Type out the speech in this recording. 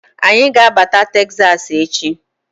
Anyi ga-abata Teksas echi.